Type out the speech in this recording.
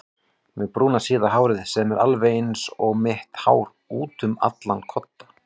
Með brúna síða hárið sem er alveg einsog mitt hár útum allan kodda.